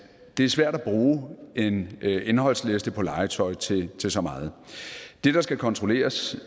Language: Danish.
det er svært at bruge en indholdsliste for legetøj til til så meget det der skal kontrolleres